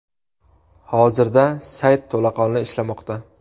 Hozirda sayt to‘laqonli ishlamoqda.